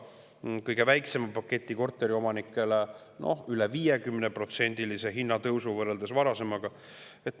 See tõi kõige väiksema paketiga korteriomanikele kaasa üle 50%‑lise hinnatõusu võrreldes varasemaga.